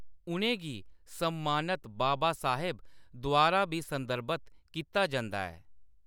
उʼनें गी सम्मानत बाबासाहेब द्वारा बी संदर्भत कीता जंदा ऐ।